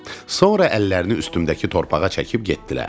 Sonra əllərini üstümdəki torpağa çəkib getdilər.